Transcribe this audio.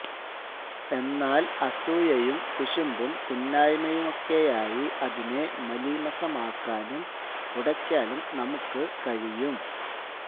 എന്നാല് അസൂയയും കുശുമ്പും കുന്നായ്മയുമൊക്കയായി അതിനെ മലീമസമാക്കാനും ഉടയ്ക്കാലും നമുക്കു കഴിയും